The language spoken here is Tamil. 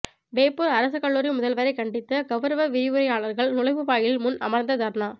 வேப்பூர் அரசு கல்லூரி முதல்வரை கண்டித்து கவுரவ விரிவுரையாளர்கள் நுழைவு வாயில் முன் அமர்ந்து தர்ணா